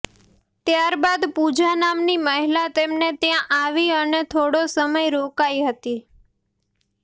ત્યારબાદ પૂજા નામની મહિલા તેમને ત્યાં આવી અને થોડો સમય રોકાઇ હતી